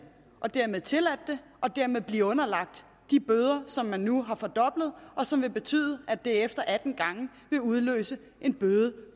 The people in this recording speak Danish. og dermed tilladt det og dermed blevet underlagt de bøder som man nu har fordoblet og som vil betyde at det efter atten gange vil udløse en bøde